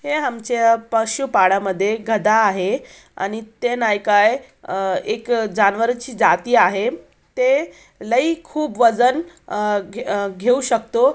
हे आमच्या पशु पाडामध्ये एक गधा आहे आणि ते नाही का एक जानवरची जाती आहें ते लय खूप वजन अ अ घेऊ शकतो.